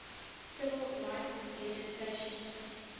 civil rights legislation